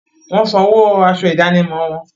Wọ́n sanwó aṣọ ìdánimọ̀ wọn.